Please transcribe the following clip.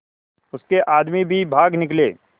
उसके आदमी भी भाग निकले